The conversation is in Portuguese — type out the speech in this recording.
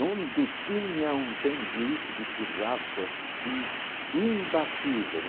Não detinha um sanduíche de churrasco assim imbatível.